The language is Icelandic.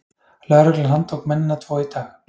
Lögreglan handtók mennina tvo í dag